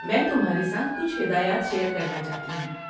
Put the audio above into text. میں تمہارے ساتھ کچھ ہدایات شیئر کرنا چاہتی ہوں۔